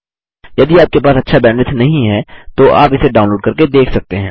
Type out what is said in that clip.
यदि आपके पास अच्छा बैंडविड्थ नहीं है तो आप इसे डाउनलोड करके देख सकते हैं